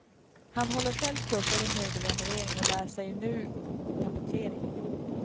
Han håller själv kurser i möbelrenovering och lär sig nu tapetsering.